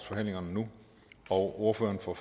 forhandlingerne og ordføreren for